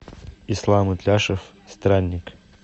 ислам итляшев странник